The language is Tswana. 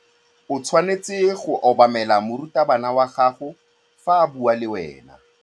O tshwanetse go obamela morutabana wa gago fa a bua le wena.